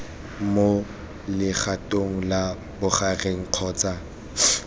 mo legatong la bogareng kgotsa